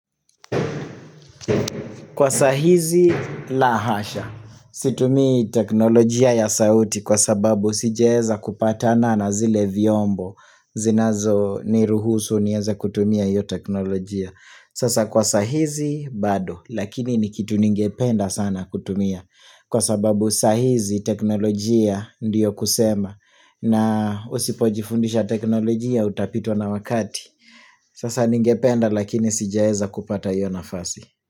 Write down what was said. Kwa sahizi la hasha. Situmii teknolojia ya sauti kwa sababu sijaeza kupatana na zile vyombo. Zinazo niruhusu nieze kutumia hio teknolojia. Sasa kwa saa hizi bado lakini ni kitu ningependa sana kutumia. Kwa sababu saa hizi teknolojia ndiyo kusema na usipojifundisha teknolojia utapitwa na wakati. Sasa ningependa lakini sijeza kupata yu nafasi.